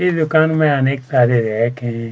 इ दुकान में अनेक --